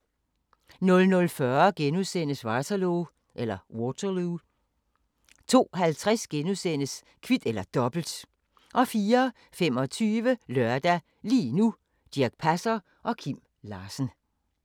00:40: Waterloo * 02:50: Kvit eller Dobbelt * 04:25: Lørdag – lige nu: Dirch Passer og Kim Larsen